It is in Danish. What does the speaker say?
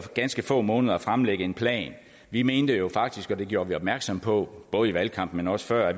ganske få måneder at fremlægge en plan vi mente jo faktisk og det gjorde vi opmærksom på både i valgkampen men også før